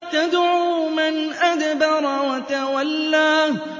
تَدْعُو مَنْ أَدْبَرَ وَتَوَلَّىٰ